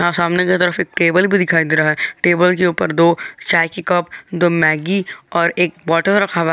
यहाँ सामने की तरफ एक टेबल भी दिखाई दे रहा है टेबल के ऊपर दो चाय की कप दो मैगी और एक बोटल रखा हुआ है।